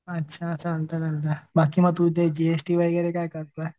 अच्छा चालतंय चालतंय बाकी मग तू ते जीएसटी वगैरे काय करतोय?